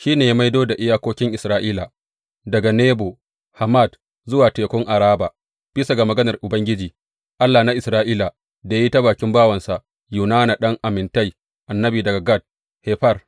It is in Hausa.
Shi ne ya maido da iyakokin Isra’ila daga Lebo Hamat zuwa Tekun Araba, bisa ga maganar Ubangiji, Allah na Isra’ila, da ya yi ta bakin bawansa Yunana ɗan Amittai, annabi daga Gat Hefer.